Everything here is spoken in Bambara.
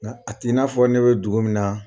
Nka a ti n'a fɔ ne bɛ dugu min na.